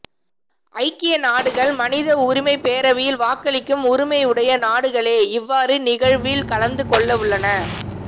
ஐக்கிய நாடுகள் மனித உரிமைப் பேரவையில் வாக்களிக்கும் உரிமையுடைய நாடுகளே இவ்வாறு நிகழ்வில் கலந்து கொள்ளவுள்ளன